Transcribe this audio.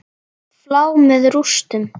Flá með rústum.